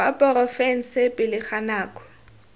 wa porofense pele ga nako